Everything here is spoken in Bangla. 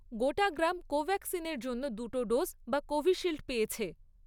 গোটা গ্রাম কোভ্যাক্সিনের জন্য দুটো ডোজ বা কোভিশিল্ড পেয়েছে।